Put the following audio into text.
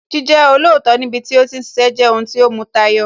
Jíjẹ́ olóòótọ́ níbi tí ó ti ń ṣiṣẹ́ jẹ́ ohun tí ó mu tayọ